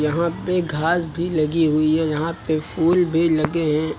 यहां पे घास भी लगी हुए हैं यहां पे फूल भी लगे हैं।